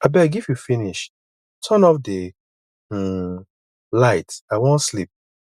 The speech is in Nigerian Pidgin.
abeg if you finish turn off the um light i wan sleep